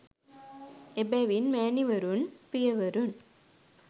එබැවින් මෑණිවරුන්, පියවරුන්,